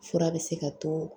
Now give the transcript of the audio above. Fura bɛ se ka to